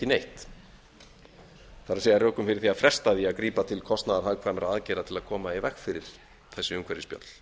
neitt það er rökum fyrir því að fresta því að grípa til kostnaðarhagkvæmra aðgerða til að koma í veg fyrir þessi umhverfisspjöll